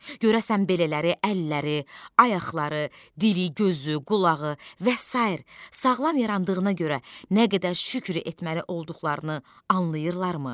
Görəsən belələri əlləri, ayaqları, dili, gözü, qulağı və sair sağlam yarandığına görə nə qədər şükr etməli olduqlarını anlayırlarmı?